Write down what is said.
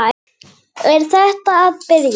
Er þetta að byrja?